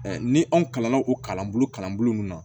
ni anw kalanna o kalanbolo kalanbolo min na